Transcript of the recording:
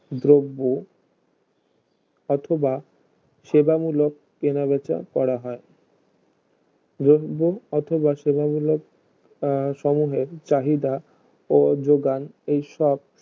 দ্ৰব্য অথবা সেবামূকল কেনা বেচা করা হয় দ্রব্য অথবা সেবামূকল আহ সমূহের চাহিদা ও যোগান সব